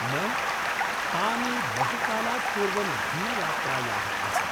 न, तानि बहुकालात् पूर्वं भिन्नयात्रायाः आसन्।